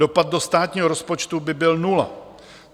Dopad do státního rozpočtu by byl nula.